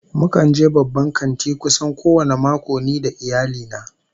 Mukan je babban kanti kusan kowane mako ni da iyali na